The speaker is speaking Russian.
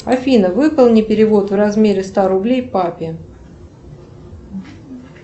афина выполни перевод в размере ста рублей папе